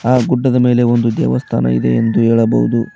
ಆ ಗುಡ್ಡದ ಮೇಲೆ ಒಂದು ದೇವಸ್ಥಾನ ಇದೆ ಎಂದು ಹೇಳಬಹುದು.